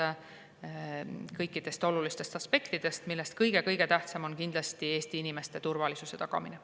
Me analüüsime kõiki olulisi aspekte, millest kindlasti kõige-kõige tähtsam on Eesti inimeste turvalisuse tagamine.